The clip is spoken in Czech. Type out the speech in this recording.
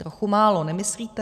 Trochu málo, nemyslíte?